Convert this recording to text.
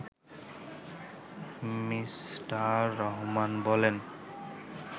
me: Rahman বলেন